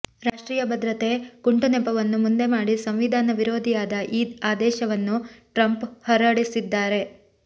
ರಾಷ್ಟ್ರೀಯ ಭದ್ರತೆಯ ಕುಂಟುನೆಪವನ್ನು ಮುಂದೆಮಾಡಿ ಸಂವಿಧಾನ ವಿರೋಧಿಯಾದ ಈ ಆದೇಶವನ್ನು ಟ್ರಂಪ್ ಹೊರಡಿಸಿದ್ದಾರೆ